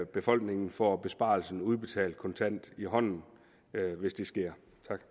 befolkningen får besparelsen udbetalt kontant i hånden hvis det sker